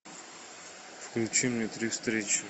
включи мне три встречи